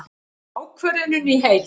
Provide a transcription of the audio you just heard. Ákvörðunin í heild